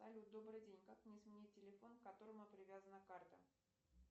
салют добрый день как мне сменить телефон к которому привязана карта